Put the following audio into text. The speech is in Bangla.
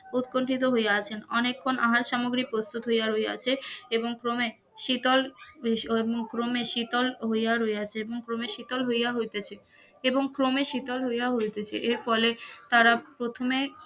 উৎকন্ঠিত হইয়া আছেন অনেক ক্ষণ আহার সামগ্রী প্রস্তুত হইয়াছে এবং ক্রমে শীতল সময়ানুক্রম শীতল হইয়া রইয়াছে ক্রমে শীতল হইয়া হইতাছে, এবং শীতল হইয়া হইতাছে এর ফলে তারা প্রথমে